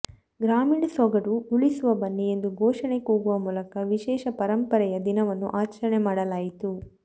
ಗ್ರಾಮೀಣ ಸೊಗಡು ಉಳಿಸುವ ಬನ್ನಿ ಎಂದು ಘೋಷಣೆ ಕೂಗುವ ಮೂಲಕ ವಿಶೇಷ ಪರಂಪರೆಯ ದಿನವನ್ನು ಆಚರಣೆ ಮಾಡಲಾಯಿತು